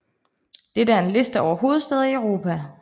Dette er en liste over hovedstæder i Europa